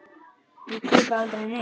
Ég kaupi aldrei neitt.